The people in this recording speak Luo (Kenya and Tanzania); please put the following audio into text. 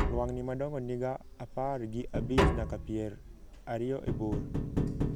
lwang'ni madongo niga apar gi abich nyaka pier ariyo e bor